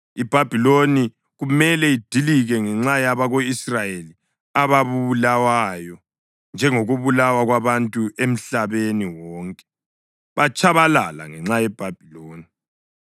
“IBhabhiloni kumele idilike ngenxa yabako-Israyeli ababulawayo, njengokubulawa kwabantu emhlabeni wonke, batshabalala ngenxa yeBhabhiloni.